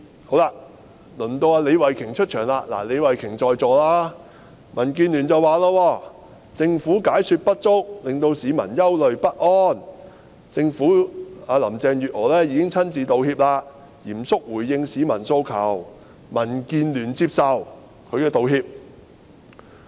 好了，輪到李慧琼議員出場——李慧琼議員現時也在席——民主建港協進聯盟說，政府解說不足，令市民憂慮不安，林鄭月娥已經親自道歉，嚴肅回應市民的訴求，民建聯接受其道歉。